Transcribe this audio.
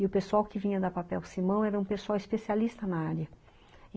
E o pessoal que vinha da Papel Simão era um pessoal especialista na área.